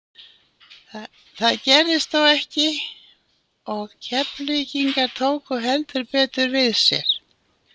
Það gerðist þó ekki og Keflvíkingar tóku heldur betur við sér.